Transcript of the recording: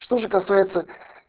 что же касается